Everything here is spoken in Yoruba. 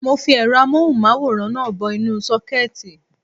Mo fi ẹ̀rọ amóhùn máwòrán náà bọ inú sókẹ́ẹ̀tì